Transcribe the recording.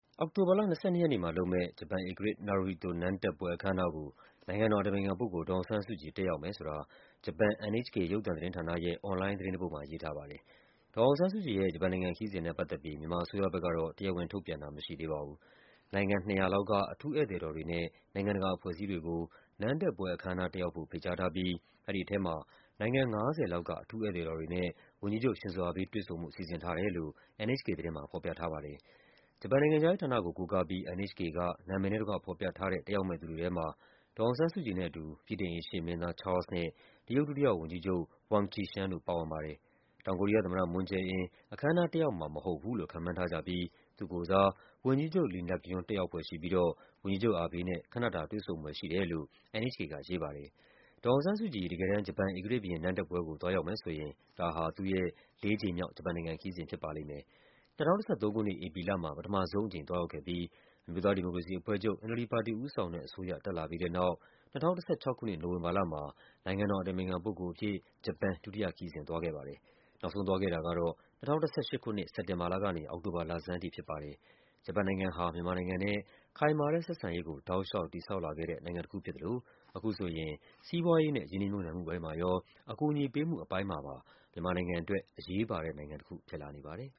အောက်တိုဘာလ ၂၂ ရက်နေ့မှာလုပ်မယ့် ဂျပန်ဧကရာဇ် Naruhito နန်းတက်ပွဲ အခမ်းအနားကို နိုင်ငံတော်အတိုင်ပင်ခံပုဂ္ဂိုလ် ဒေါ်အောင်ဆန်းစုကြည် တက်ရောက်မယ်ဆိုတာ ဂျပန် NHK ရုပ်သံသတင်းဌာနရဲ့ အွန်လိုင်းသတင်းတပုဒ်မှာ ရေးထားပါတယ်။ ဒေါ်အောင်ဆန်းစုကြည်ရဲ့ ဂျပန်နိုင်ငံခရီးစဉ်နဲ့ပတ်သက်ပြီး မြန်မာအစိုးရဘက်ကတော့ တရားဝင်ထုတ်ပြန်တာ မရှိသေးပါဘူး။ နိုင်ငံ ၂၀၀ လောက်က အထူးဧည့်သည်တော်တွေနဲ့ နိုင်ငံတကာအဖွဲ့အစည်းတွေကို နန်းတက်ပွဲ အခမ်းအနားတက်ရောက်ဖို့ ဖိတ်ကြားထားပြီး အဲဒီထဲမှာ နိုင်ငံ ၅၀ လောက်က အထူးဧည့်သည်တော်တွေနဲ့ ဝန်ကြီးချုပ် Shinzo Abe တွေ့ဆုံဖို့ စီစဉ်ထား တယ်လို့ NHK သတင်းမှာ ဖော်ပြထားပါတယ်။ ဂျပန်နိုင်ငံခြားရေးဌာနကို ကိုးကားပြီး NHK က နာမည်နဲ့တကွဖော်ပြထားတဲ့ တက်ရောက်မယ့် သူတွေထဲမှာ ဒေါ်အောင်ဆန်းစု ကြည်နဲ့အတူ ဗြိတိန် အိမ်ရှေ့မင်းသား Charles နဲ့ တရုတ်ဒုတိယဝန်ကြီးချုပ် Wang Qishan တို့ပါဝင်ပါတယ်။ တောင်ကိုရီးယား သမ္မတ Moon Jae-in အခမ်းအနားတက်ရောက်မှာ မဟုတ်ဘူးလို့ ခန့်မှန်းထားကြပြီး သူ့ကိုယ်စား ဝန်ကြီးချုပ် Lee Nak-yon တက်ရောက်ဖွယ်ရှိပြီးတော့ ဝန်ကြီးချုပ် Abe နဲ့ ခဏတာ တွေ့ဆုံဖွယ်ရှိတယ်လို့ NHK ကရေးပါတယ်။ ဒေါ်အောင်ဆန်းစုကြည် တကယ်တမ်း ဂျပန်ဧကရာဇ်ဘုရင် နန်းတက်ပွဲကို သွားရောက်မယ်ဆိုရင် ဒါဟာ သူ့ရဲ့ ၄ ကြိမ်မြောက် ဂျပန်နိုင်ငံခရီးစဉ် ဖြစ်ပါလိမ့်မယ်။ ၂၀၁၃ ခုနှစ်၊ ဧပြီလမှာ ပထမဆုံးအကြိမ် သွားရောက်ခဲ့ပြီး အမျိုးသားဒီမိုကရေစီအဖွဲ့ချုပ် NLD ပါတီဦးဆောင်တဲ့အစိုးရ တက်လာ ပြီးတဲ့နောက် ၂၀၁၆ ခုနှစ် နိုဝင်ဘာလမှာ နိုင်ငံတော်အတိုင်ပင်ခံပုဂ္ဂိုလ်အဖြစ် ဂျပန် ဒုတိယခရီးစဉ် သွားခဲ့ပါတယ်။ နောက်ဆုံး သွားခဲ့တာကတော့ ၂၀၁၈ ခုနှစ် အောက်တိုဘာလကဖြစ်ပါတယ်။ ဂျပန်နိုင်ငံဟာ မြန်မာနိုင်ငံနဲ့ ခိုင်မာတဲ့ဆက်ဆံရေးကို တောက်လျှောက်တည်ဆောက်လာခဲ့တဲ့ နိုင်ငံတခုဖြစ်သလို အခုဆိုရင် စီးပွားရေးနဲ့ ရင်းနှီးမြှုပ်နှံမှုပိုင်းမှာရော၊ အကူအညီပေးမှုအပိုင်းမှာပါ မြန်မာနိုင်ငံအတွက် အရေးပါတဲ့နိုင်ငံတခု ဖြစ်လာနေပါတယ်။